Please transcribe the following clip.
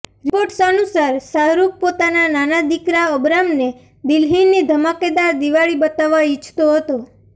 reports અનુસાર શાહરૂખ પોતાના નાના દિકરા અબરામને દિલ્હીની ઘમાકેદાર દિવાળી બતાવવા ઈચ્છતો હતો